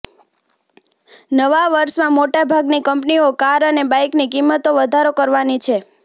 નવા વર્ષમાં મોટાભાગની કંપનીઓ કાર અને બાઈકની કિંમતોમાં વધારો કરવાની છે